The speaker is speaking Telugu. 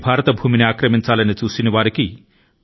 భారతదేశం మిత్రత్వం యొక్క స్ఫూర్తి ని గౌరవిస్తుంది